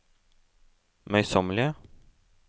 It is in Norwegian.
møysommelige